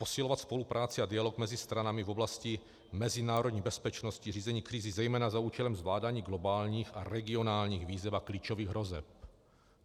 Posilovat spolupráci a dialog mezi stranami v oblasti mezinárodní bezpečnosti, řízení krizí zejména za účelem zvládání globálních a regionálních výzev a klíčových hrozeb.